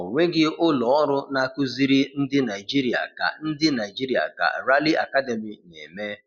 Ọ nweghị ụlọ ọrụ na-akụziri ndị Naijiria ka ndị Naijiria ka Rally Academy na-eme.